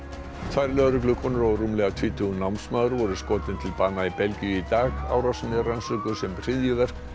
tvær lögreglukonur og rúmlega tvítugur námsmaður voru skotin til bana í Belgíu í dag árásin er rannsökuð sem hryðjuverk